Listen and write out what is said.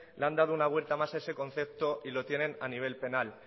le han dado una vuelta más a ese concepto y lo tienen a nivel penal